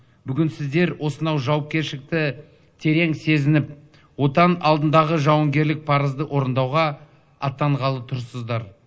бүгін сіздер осынау жауапкершілікті терең сезініп отан алдындағы жауынгерлік парызды орындауға аттанғалы тұрсыздар